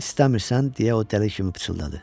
İstəmirsən, deyə o dəli kimi pıçıldadı.